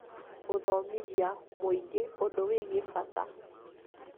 gũthomithia mũingĩ ũndũ wĩgiĩ bata